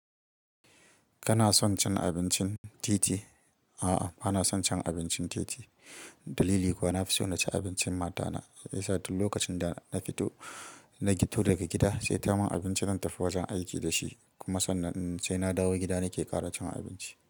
Kana son cin abincin titi? A'a, bana son cin abincin titi. Dalili kuwa na fi so na ci abincin matana. Yasa duk lokacin da na fito, na fito daga gida, sai ta mun abinci nan dafi wajen aiki da shi. Kuma sannan sai na dawo gida nake ƙara cin abinci.